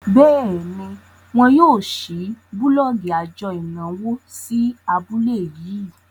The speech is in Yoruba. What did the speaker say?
béèni wón yóò ṣii bulọọgi ajo ìnáwó sí abúlé yii.